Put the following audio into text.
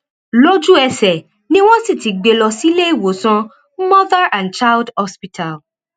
lójúẹsẹ ni wọn sì ti gbé e lọ síléèwòsàn mother and child hospital